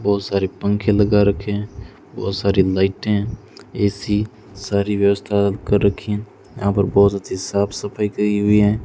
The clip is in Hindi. बहोत सारे पंखे लगा रखे हैं बहोत सारी लाइटें ए_सी सारी व्यवस्था कर रखी हैं यहां पर बहोत अच्छे साफ सफाई करी हुई हैं।